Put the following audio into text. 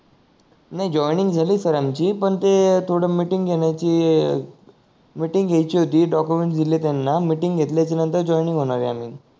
नाही जॉयनिंग झाली सर आमची पण त थोड मीटिंग घेण्याची मीटिंग घ्यायची होती डॉक्युमेंट दिलले त्यांना मीटिंग घेतल्याच्या नंतर जॉयनिंग होणार आहे आम्ही